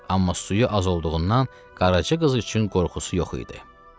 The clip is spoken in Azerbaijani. Amma suyu az olduğundan qaraca qız üçün qorxusu yox idi.